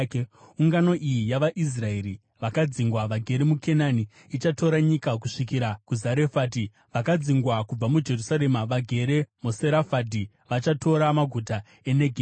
Ungano iyi yavaIsraeri vakadzingwa vagere muKenani ichatora nyika kusvikira kuZarefati; vakadzingwa kubva muJerusarema vagere muSefaradhi vachatora maguta eNegevhi.